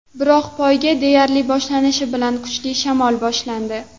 Biroq poyga deyarli boshlanishi bilan kuchli shamol boshlandi.